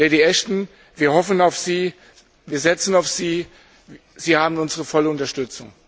Lady Ashton, wir hoffen auf Sie, wir setzen auf Sie, Sie haben unsere volle Unterstützung.